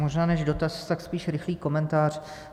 Možná než dotaz, tak spíš rychlý komentář.